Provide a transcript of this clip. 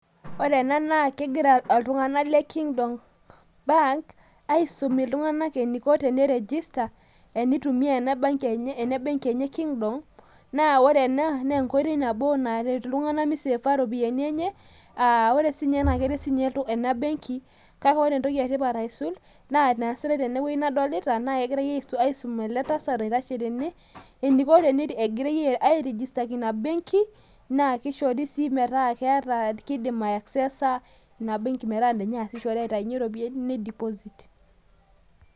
ore ena naaa kegira iltungana le kingdom bank, aisum iltunganak eneiko teni register enitumia ena benki enye e kingdom. naa ore ena naa enkoitoi nabo naret iltungan miseefa iropiyiani enye.aa ore siii ninye ena keret sii ninye ena benki, kake ore entoki etipat aisul naa enaasitae tene wueji nadolita naa kegirae aisum ele tasat oitashe tene. eneiko tene, egirae airestiaki ina benki, naa kishori sii metaa kidima access ina benki enye aitayu iropiyiani ni deposit